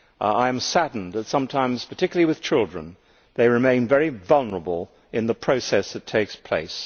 I am saddened that sometimes, particularly with children, they remain very vulnerable in the process that takes place.